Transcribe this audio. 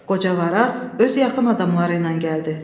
Qoca Varaz öz yaxın adamları ilə gəldi.